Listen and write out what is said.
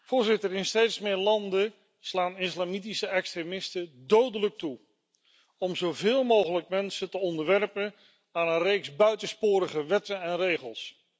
Voorzitter, in steeds meer landen slaan islamitische extremisten dodelijk toe om zoveel mogelijk mensen te onderwerpen aan een reeks buitensporige wetten en regels.